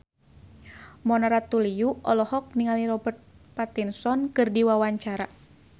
Mona Ratuliu olohok ningali Robert Pattinson keur diwawancara